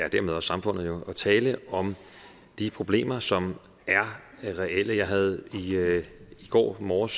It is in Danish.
og dermed også samfundet at tale om de problemer som er reelle jeg havde i går morges